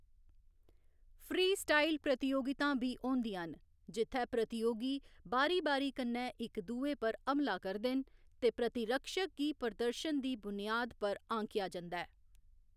Freestyle प्रतियोगितां बी होंदियां न, जित्थै प्रतियोगी बारी बारी कन्ने इक दुए पर हमला करदे न ते प्रतिरक्षक गी प्रदर्शन दी बुनियाद पर आँकेआ जंदा ऐ।